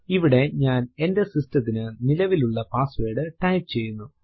ഇവിടെ ഞാൻ എന്റെ സിസ്ടത്തിന്റെ നിലവിലുള്ള പാസ്സ്വേർഡ് ടൈപ്പ് ചെയ്യുന്നു